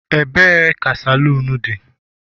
ebe ka saloon di?